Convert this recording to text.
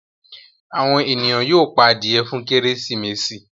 àwọn ènìyàn yóó pá adìye fún Kérésìmesì.